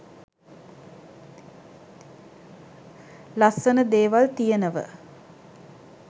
ලස්සන දේවල් තියෙනව?